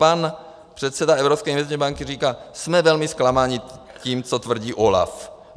Pan předseda Evropské investiční banky říká: Jsme velmi zklamaní tím, co tvrdí OLAF.